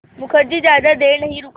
मुखर्जी ज़्यादा देर नहीं रुका